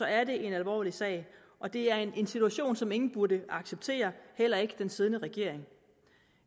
er det en alvorlig sag og det er en situation som ingen burde acceptere heller ikke den siddende regering